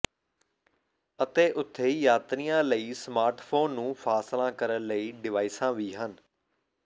ਅਤੇ ਉਥੇ ਯਾਤਰੀਆਂ ਲਈ ਸਮਾਰਟਫੋਨ ਨੂੰ ਫਾਸਲਾ ਕਰਨ ਲਈ ਡਿਵਾਈਸਾਂ ਵੀ ਹਨ